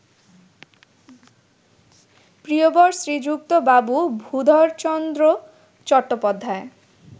প্রিয়বর Shriyukta Babu Bhudharchandra Chattopadhyay